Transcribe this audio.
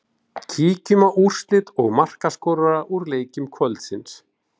Kíkjum á úrslit og markaskorara úr leikjum kvöldsins.